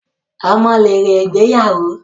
Ọmọ lèrè ìgbéyàwó